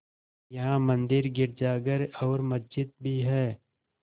यहाँ मंदिर गिरजाघर और मस्जिद भी हैं